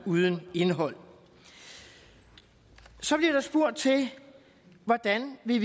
uden indhold så bliver der spurgt til hvordan vi